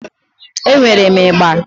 E nwere ịgba.